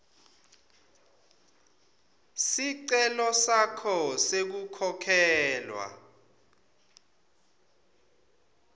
sicelo sakho sekukhokhelwa